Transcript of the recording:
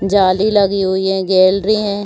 जाली लगी हुई हैं गैलरी है।